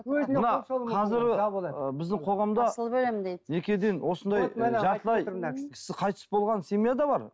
мына қазір біздің қоғамда асылып өлемін дейді некеден осындай жартылай кісі қайтыс болған семья да бар